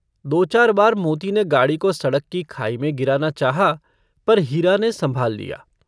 दो-चार बार मोती ने गाड़ी को सड़क की खाई में गिराना चाहा पर हीरा ने संभाल लिया।